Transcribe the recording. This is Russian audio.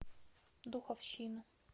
духовщину